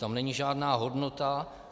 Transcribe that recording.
Tam není žádná hodnota.